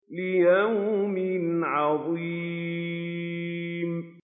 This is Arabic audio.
لِيَوْمٍ عَظِيمٍ